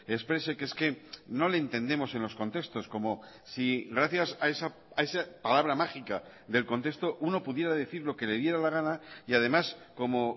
exprese que es que no le entendemos en los contextos como si gracias a esa palabra mágica del contexto uno pudiera decir lo que le diera la gana y además como